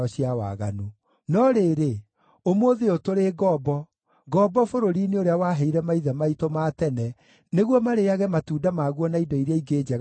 “No rĩrĩ, ũmũthĩ ũyũ tũrĩ ngombo, ngombo bũrũri-inĩ ũrĩa waheire maithe maitũ ma tene nĩguo marĩĩage matunda maguo na indo iria ingĩ njega ikũraga kuo.